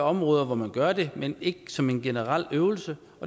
områder hvor man gør det men ikke som en generel øvelse